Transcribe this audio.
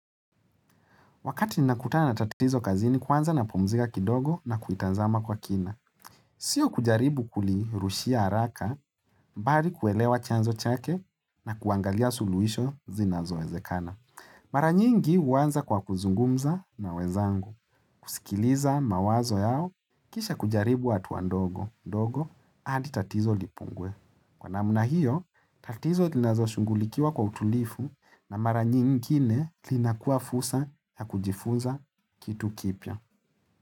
Wakati ninakutana na tatizo kazini kwanza napumzika kidogo na kuitazama kwa kina. Sio kujaribu kulirushia haraka, bali kuelewa chanzo chake na kuangalia suluisho zinazo ezekana. Mara nyingi huanza kwa kuzungumza na wenzangu. Kusikiliza mawazo yao, kisha kujaribu hatua wa ndogo ndogo hadi tatizo lipungue. Kwa namna hiyo, tatizo linazo shunghulikiwa kwa utulivu na mara nyingine lina kua fursaha ya kujifuza kitu kipya.